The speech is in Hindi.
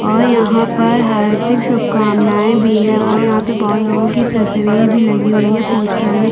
और यहाँ पर हार्दिक शुभ कामनाये भी है और यहाँ पे बहोत लोगो की तस्वीर भी लगी हुई है पोस्टर में--